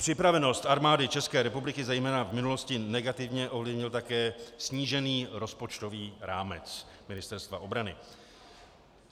Připravenost Armády České republiky zejména v minulosti negativně ovlivnil také snížený rozpočtový rámec Ministerstva obrany.